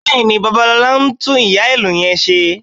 Bẹ́ẹ̀ni, Babalọlá ń tún ìyá-ìlù yẹn ṣe